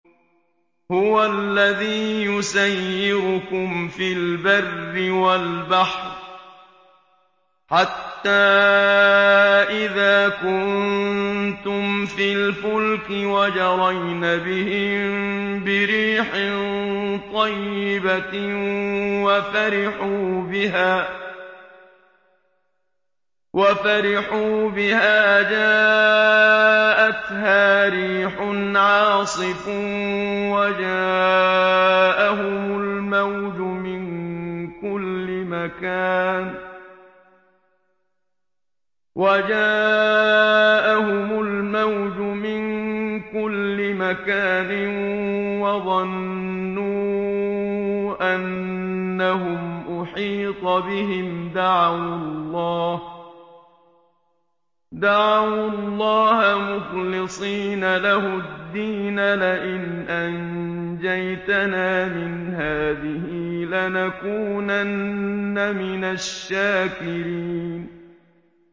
هُوَ الَّذِي يُسَيِّرُكُمْ فِي الْبَرِّ وَالْبَحْرِ ۖ حَتَّىٰ إِذَا كُنتُمْ فِي الْفُلْكِ وَجَرَيْنَ بِهِم بِرِيحٍ طَيِّبَةٍ وَفَرِحُوا بِهَا جَاءَتْهَا رِيحٌ عَاصِفٌ وَجَاءَهُمُ الْمَوْجُ مِن كُلِّ مَكَانٍ وَظَنُّوا أَنَّهُمْ أُحِيطَ بِهِمْ ۙ دَعَوُا اللَّهَ مُخْلِصِينَ لَهُ الدِّينَ لَئِنْ أَنجَيْتَنَا مِنْ هَٰذِهِ لَنَكُونَنَّ مِنَ الشَّاكِرِينَ